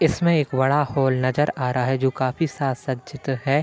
इसमें एक बड़ा हॉल नजर आ रहा है जो काफी सासज्जीत है।